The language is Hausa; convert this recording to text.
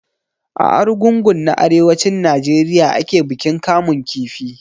A Arugungu na arewacin Najeriya ake bikin kamun kifi.